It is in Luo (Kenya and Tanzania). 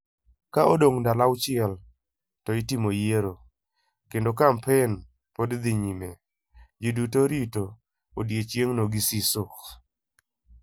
Ka odong' ndalo auchiel to itimo yiero, kendo ka kampen pod dhi nyime, ji duto rito odiechieng'no gi siso.